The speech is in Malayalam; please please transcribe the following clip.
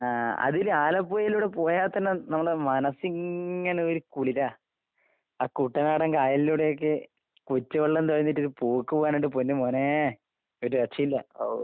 ആഹ് അതില് ആലപ്പുഴയിലൂടെ പോയാത്തന്നെ നമ്മടെ മനസ്സിങ്ങനെ ഒരു കുളിരാ. ആ കുട്ടനാടൻ കായലിലൂടെയൊക്കെ കൊച്ച് വെള്ളം തൊഴഞ്ഞിട്ടൊര് പോക്ക് പോയാലെന്റെ പൊന്ന് മോനെ ഒരു രക്ഷയും ഇല്ല ഔ.